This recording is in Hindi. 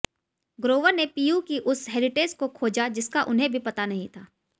ग्रोवर ने पीयू की उस हेरिटेज को खोजा जिसका उन्हें भी पता नहीं था